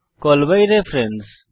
call by reference